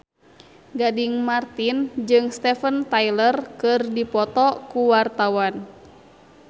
Gading Marten jeung Steven Tyler keur dipoto ku wartawan